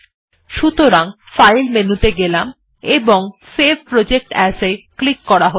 সুতরাং ফাইল মেনুতে গেলাম এবংSave প্রজেক্ট এএস এ ক্লিক করা হল